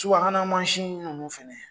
Suba hana man sin ninnu fana